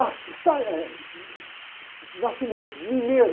Ah, está... Eh, eh, nascimento? Mineiro.